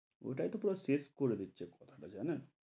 ওটাই তো পুরা শেষ করে দিচ্ছে, করা টা জানেন,